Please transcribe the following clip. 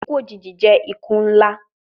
Iku ojiji jẹ iku nla